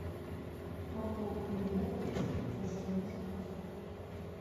могу ли я получить подтверждение заказа